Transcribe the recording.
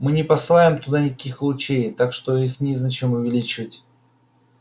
мы не посылаем туда никаких лучей так что их незачем увеличивать